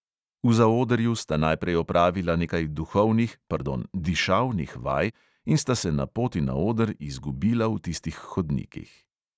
V zaodrju sta najprej opravila nekaj duhovnih, pardon, dišavnih vaj in sta se na poti na oder izgubila v tistih hodnikih.